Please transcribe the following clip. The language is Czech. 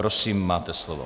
Prosím, máte slovo.